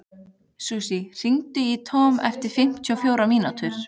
Susie, hringdu í Tom eftir fimmtíu og fjórar mínútur.